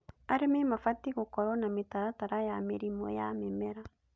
Arĩmi mabatiĩ gũkorwo na mĩtaratara ya mĩrimũ ya mĩmera